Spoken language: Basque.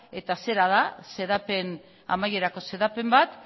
eta zera da amaierako xedapen bat